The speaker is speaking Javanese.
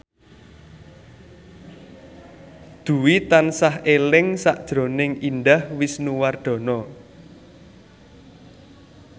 Dwi tansah eling sakjroning Indah Wisnuwardana